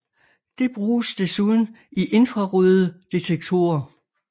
Det bruges desuden i infrarøde detektorer